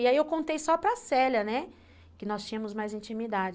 E aí eu contei só para Célia, né, que nós tínhamos mais intimidade.